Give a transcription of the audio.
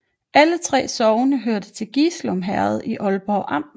Alle 3 sogne hørte til Gislum Herred i Aalborg Amt